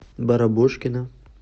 барабошкина